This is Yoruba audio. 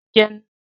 Ajá ni ó jẹnu ẹ